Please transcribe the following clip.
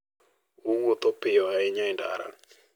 Owuotho piyo ahinya e ndara